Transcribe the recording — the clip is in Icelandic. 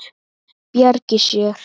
Bjargi sér.